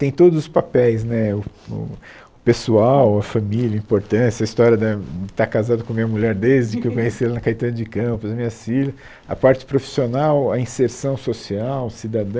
Tem todos os papéis né, o o o pessoal, a família, a importância, a história da de estar casado com a minha mulher desde que eu conheci ela na Caetano de Campos, as minhas filha, a parte profissional, a inserção social, cidadã.